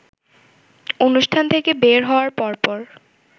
অনুষ্ঠান থেকে বের হওয়ার পরপর